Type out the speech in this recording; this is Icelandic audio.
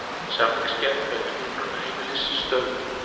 Samningsgerð vegna hjúkrunarheimilis stöðvuð